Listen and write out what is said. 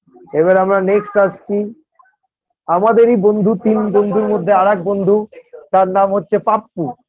এবার আমি Next আসছি আমাদেরই বন্ধু তিন বন্ধুর মধ্যে আরেক বন্ধু তার নাম হচ্ছে পাপ্পু